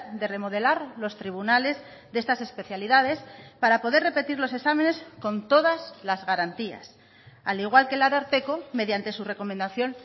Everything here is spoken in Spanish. de remodelar los tribunales de estas especialidades para poder repetir los exámenes con todas las garantías al igual que el ararteko mediante su recomendación